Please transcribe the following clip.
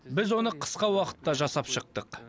біз оны қысқа уақытта жасап шықтық